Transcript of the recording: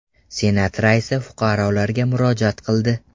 Senat raisi fuqarolarga murojaat qildi.